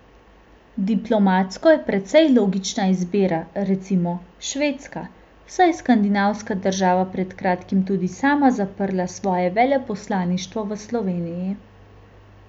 Diplomatsko je precej logična izbira, recimo, Švedska, saj je skandinavska država pred kratkim tudi sama zaprla svoje veleposlaništvo v Sloveniji.